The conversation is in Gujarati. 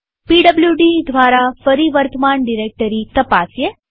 પીડબ્લુડી દ્વારા ફરી વર્તમાન ડિરેક્ટરી તપાસીએ